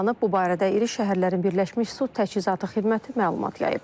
Bu barədə iri şəhərlərin birləşmiş su təchizatı xidməti məlumat yayıb.